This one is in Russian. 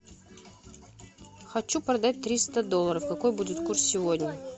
хочу продать триста долларов какой будет курс сегодня